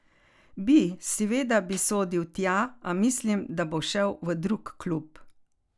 Bi, seveda bi sodil tja, a mislim, da bo šel v drug klub.